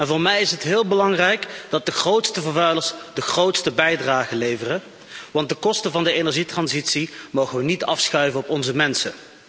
Voor mij is het heel belangrijk dat de grootste vervuilers de grootste bijdrage leveren, want de kosten van de energietransitie mogen we niet afschuiven op onze mensen.